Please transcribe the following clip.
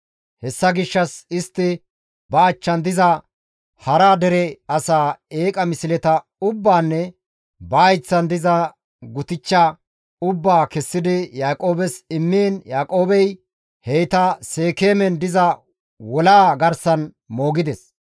Hessa gishshas istti ba achchan diza hara dere asaa eeqa misleta ubbaanne ba hayththan diza gutichcha ubbaa kessidi Yaaqoobes immiin Yaaqoobey heyta Seekeemen diza wolaa garsan moogides.